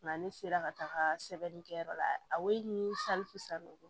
Nka ne sera ka taga sɛbɛnnikɛyɔrɔ la a ye ni salifu salo